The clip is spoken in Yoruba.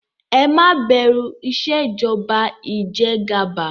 Ẹ má bẹ̀rù Ìṣèjọba ijẹgàba!